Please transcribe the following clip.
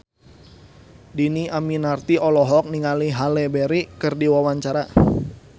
Dhini Aminarti olohok ningali Halle Berry keur diwawancara